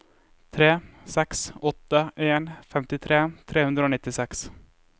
tre seks åtte en femtitre tre hundre og nittiseks